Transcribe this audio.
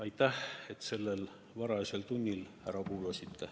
Aitäh, et te sellel varajasel tunnil mind ära kuulasite!